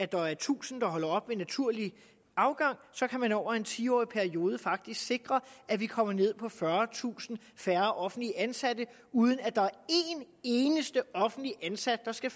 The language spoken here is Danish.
der er tusind der holder op ved naturlig afgang kan man over en tiårig periode faktisk sikre at vi kommer ned på fyrretusind færre offentligt ansatte uden at der er en eneste offentligt ansat der skal